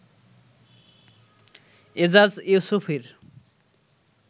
Ejaz ইউসুফীর